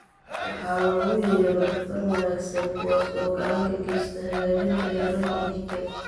"waxa loogu yeero "dufan wanaagsan", kuwaas oo gacan ka geysta hagaajinta heerarka dhiigga."